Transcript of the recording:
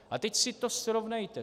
A teď si to srovnejte.